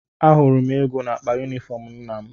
Ahụrụ m ego n’akpa yunifọm nna m.